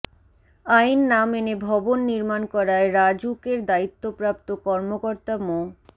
আইন না মেনে ভবন নির্মাণ করায় রাজউকের দায়িত্বপ্রাপ্ত কর্মকর্তা মো